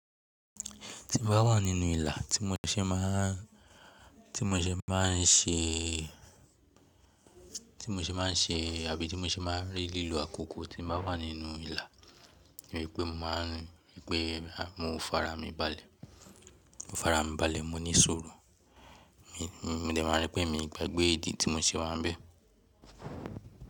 Tí mo bá wà nínú ìlà tí mo ṣe máa n ṣe àbí tí mo ṣe máa n rí lílo àkókò tí mo bá wà nínú ìlà, mo rí pé mo farami balẹ̀, mo farami balẹ̀, mo ní sùrù, mo dẹ̀ ma rí pé mi ò gbàgbé ìdí tí mo ṣe wà nbẹ̀.